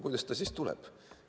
Kuidas see siis tuleb?